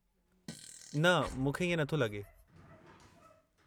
न, मूंखे इएं नथो लॻे।